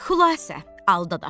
Xülasə, alıdaş.